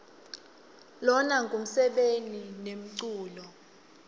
lona ngumsebeni nemculo